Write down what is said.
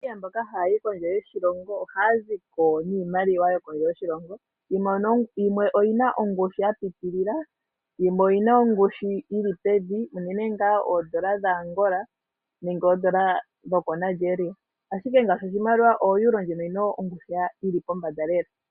Aanamibia mboka haya yi kondje yoshilongo oha ya ziko niimaliwa yokondje yoshilongo yimwe oyi na ongushu ya pitilila yimwe oyi na ongushu yili pevi unene ngaashi oondola dhaAngola nenge oondola dhoko Nigeria, ashike ngaashi oEuro ndjino oyi na ongushu yili pombanda lela.